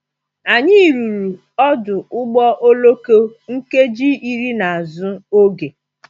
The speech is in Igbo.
Anyị ruru ọdụ ụgbọ oloko nkeji iri n’azụ oge.